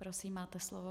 Prosím, máte slovo.